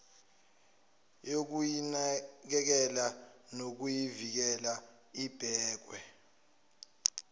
yokuyinakekela nokuyivikela ibekwe